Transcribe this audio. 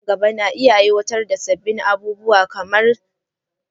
Kasuwanni nan gaba na iya aiwatar da sabbin abubuwa kamar zaɓuɓɓukan biyan kuɗi na dijital.